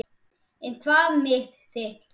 En hvað með þitt lið?